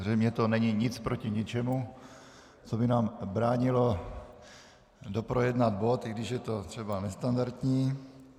Zřejmě to není nic proti ničemu, co by nám bránilo doprojednat bod, i když je to třeba nestandardní.